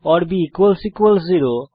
B 0